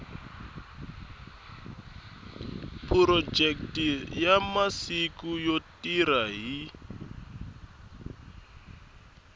phurojeke masiku yo tirha hi